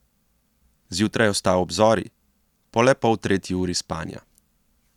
Zjutraj je vstal ob zori, po le poltretji uri spanja.